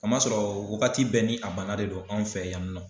Kamasɔrɔ wagati bɛɛ ni a bana de do anw fɛ yanni nɔ.